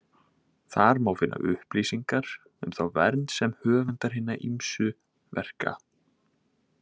Þar má finna upplýsingar um þá vernd sem höfundar hinna ýmsu verka.